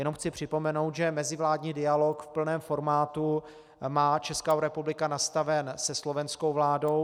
Jenom chci připomenout, že mezivládní dialog v plném formátu má Česká republika nastaven se slovenskou vládou.